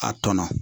A tɔnɔ